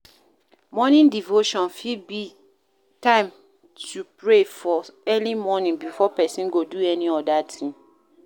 Morning devotion fit be time to pray for early morning before person go do any oda thing